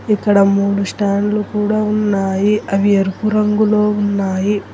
ఇక్కడ మూడు స్టాండ్లు కూడా ఉన్నాయి అవి ఎరుపు రంగులో ఉన్నాయి.